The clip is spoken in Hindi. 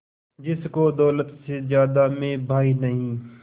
जिसको दौलत से ज्यादा मैं भाई नहीं